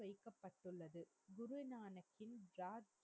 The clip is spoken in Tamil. ஜெயிக்கபட்டுள்ளது குருநாணாகின் ராஜ்